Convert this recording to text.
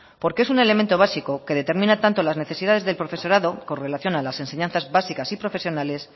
porque es un elemento básico que determina tanto las necesidades del profesorado con relación a las enseñanzas básicas y profesionales